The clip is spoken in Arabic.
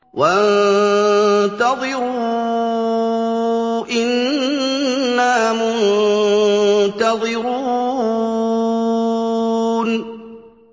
وَانتَظِرُوا إِنَّا مُنتَظِرُونَ